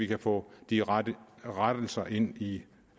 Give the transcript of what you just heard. kan få de rette rettelser ind i